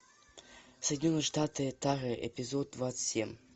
соединенные штаты тары эпизод двадцать семь